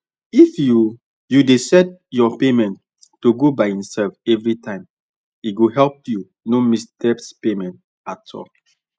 if you you dey set your payment to go by itself every time e go help you no miss debt payment at all